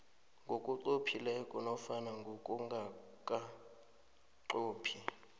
ngokunqophileko nofana ngokungakanqophi